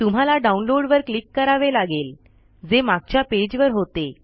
तुम्हाला डाउनलोड वर क्लिक करावे लागेल जे मागच्या पेज वर होते